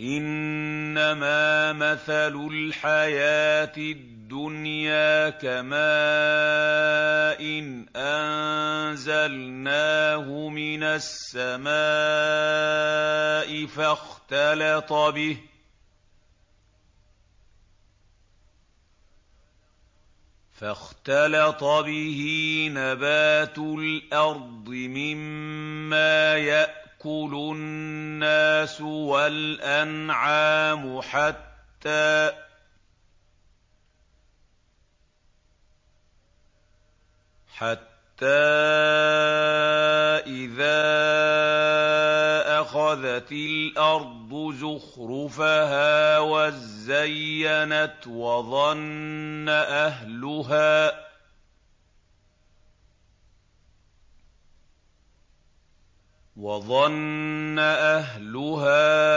إِنَّمَا مَثَلُ الْحَيَاةِ الدُّنْيَا كَمَاءٍ أَنزَلْنَاهُ مِنَ السَّمَاءِ فَاخْتَلَطَ بِهِ نَبَاتُ الْأَرْضِ مِمَّا يَأْكُلُ النَّاسُ وَالْأَنْعَامُ حَتَّىٰ إِذَا أَخَذَتِ الْأَرْضُ زُخْرُفَهَا وَازَّيَّنَتْ وَظَنَّ أَهْلُهَا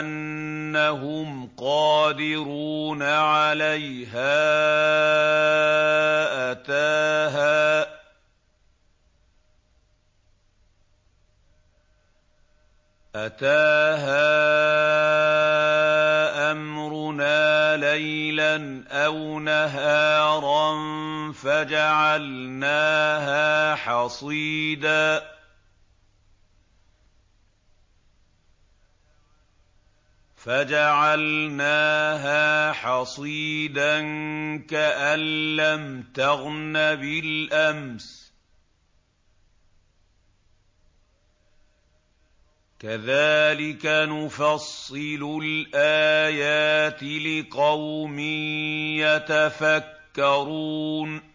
أَنَّهُمْ قَادِرُونَ عَلَيْهَا أَتَاهَا أَمْرُنَا لَيْلًا أَوْ نَهَارًا فَجَعَلْنَاهَا حَصِيدًا كَأَن لَّمْ تَغْنَ بِالْأَمْسِ ۚ كَذَٰلِكَ نُفَصِّلُ الْآيَاتِ لِقَوْمٍ يَتَفَكَّرُونَ